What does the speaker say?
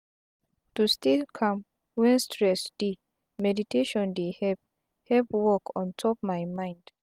to stay calm when stress dey meditation dey help help work ontop my mind.